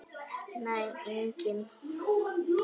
Nei, enginn